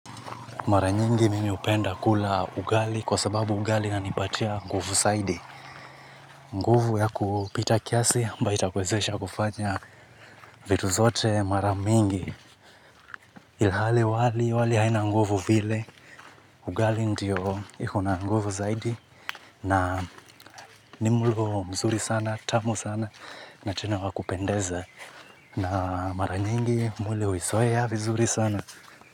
Mara nyingi mimi hupenda kula ugali kwa sababu ugali inanipatia nguvu zaidi. Nguvu ya kupita kiasi ambayo itakuwezesha kufanya vitu zote mara mingi. Ilhali wali wali haina nguvu vile. Ugali ndio iko na nguvu zaidi. Na ni mlo mzuri sana, tamu sana na tena wa kupendeza. Na mara nyingi mwili huizoea vizuri sana.